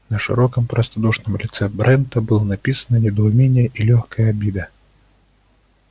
на широком простодушном лице брента было написано недоумение и лёгкая обида